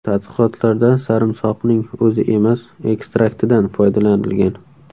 Tadqiqotlarda sarimsoqning o‘zi emas, ekstraktidan foydalanilgan.